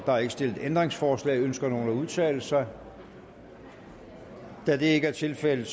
er ikke stillet ændringsforslag ønsker nogen at udtale sig da det ikke er tilfældet